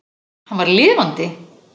Hann var lifandi!